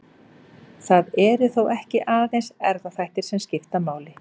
Það eru þó ekki aðeins erfðaþættir sem skipta máli.